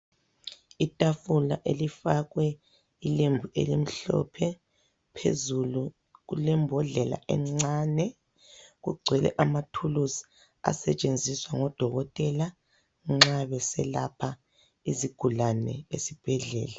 Itafula elifakwe ilembu elimhlophe. Phezulu kulembodlela encane, kugcwele amathuluzi asetshenziswa ngodokotela nxa beselapha izigulane esibhedlela.